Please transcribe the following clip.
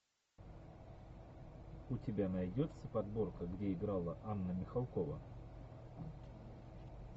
у тебя найдется подборка где играла анна михалкова